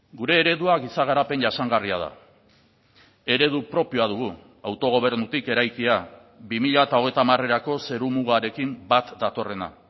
gure eredua giza garapen jasangarria da eredu propioa dugu autogobernutik eraikia bi mila hogeita hamarerako zerumugarekin bat datorrena